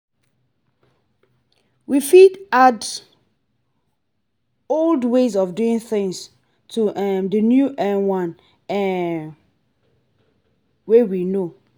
we fit add old ways of doing things to um the new um one um wey we know